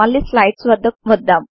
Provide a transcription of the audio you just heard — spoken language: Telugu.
మళ్లీ స్లైడ్స్ వద్దకు వద్దాం